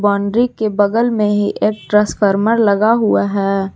Boundary के बगल में ही एक ट्रांसफार्मर लगा हुआ है।